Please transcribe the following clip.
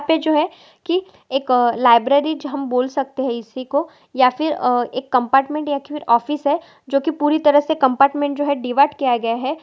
यहाँ पे जो है की एक लाइब्रेरी जो हम बोल सकते है इसीको या फिर एक कम्पार्टमेंट या फिर ऑफिस है जो की पूरा कम्पार्टमेंट पूरी तरह से डिवाइड किया गया है।